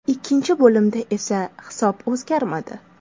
Ikkinchi bo‘limda esa hisob o‘zgarmadi.